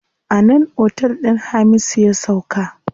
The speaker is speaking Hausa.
A nan otel din Hamisu ya sauka.